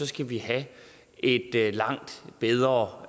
skal vi have et langt bedre